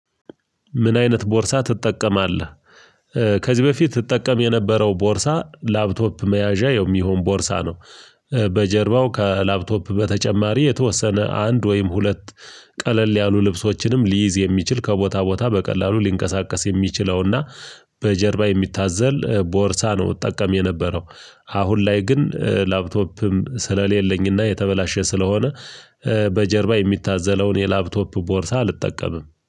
ምን? አይነት ቦርሳ ትጠቀማለህ ከዚህ በፊት እጠቀም የነበረው ቦርሳ ላፕቶፕ መያዣ የሚሆን ቦርሳ ነው። በጀርባው ከላፕቶፕ በተጨማሪ የተወሰነ አንድ ወይም ሁለት ቀለል ያሉ ልብሶችንም ሊይዝ የሚችል ከቦታ ቦታ በቀላሉ ሊንቀሳቀስ የሚችለውና በጀርባ የሚታዘል ቦርሳ ነው። እጠቀም የነበረው አሁን ላይ ግን ላፕቶፕም ስለሌለኝና የተበላሸ ስለሆነ በጀርባ የሚታዘለውን የላፕቶፕ ቦርሳ አልጠቀምም